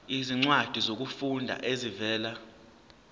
izincwadi zokufunda ezivela